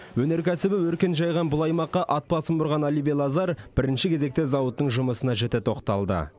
өнеркәсібі өркен жайған бұл аймаққа ат басын бұрған оливье лазар бірінші кезекте зауыттың жұмысына жіті тоқталды